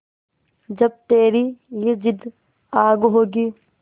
जब तेरी ये जिद्द आग होगी